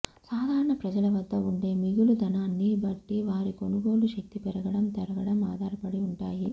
సాధారణ ప్రజల వద్ద ఉండే మిగులు ధనాన్ని బట్టి వారి కొనుగోలు శక్తి పెరగడం తరగడం ఆధారపడి ఉంటాయి